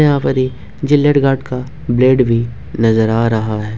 यहां पर ही जिलेट गार्ड का ब्लेड भी नजर आ रहा है।